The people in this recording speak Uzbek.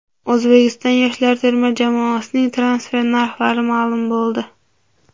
O‘zbekiston yoshlar terma jamoasining transfer narxlari ma’lum bo‘ldi.